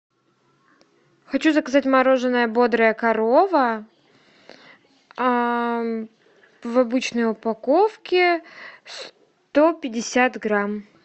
хочу заказать мороженое бодрая корова в обычной упаковке сто пятьдесят грамм